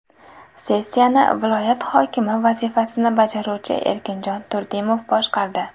Sessiyani viloyat hokimi vazifasini bajaruvchi Erkinjon Turdimov boshqardi.